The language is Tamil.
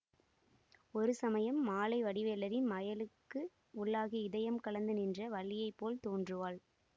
ஒரு சமயம் மாலை வடிவேலரின் மையலுக்கு உள்ளாகி இதயம் கலந்து நின்ற வள்ளியைப்போல் தோன்றுவாள்